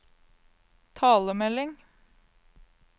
talemelding